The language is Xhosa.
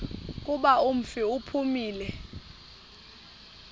kuba umfi uphumile